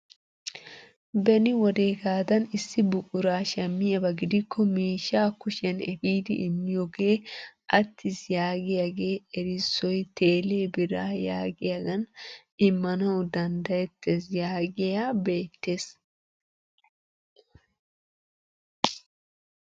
Beni wodeegadan issi buquraa shammiyaaba gidikko miishshaa kushiyaan epiidi immiyoogee attiis yaagiyaage erissoy telee biraa yagiyaagan immanawu danddayettees yaagiyaa beettees!